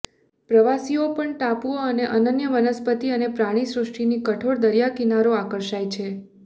પ્રવાસીઓ પણ ટાપુઓ અને અનન્ય વનસ્પતિ અને પ્રાણીસૃષ્ટિની કઠોર દરિયાકિનારો આકર્ષાય છે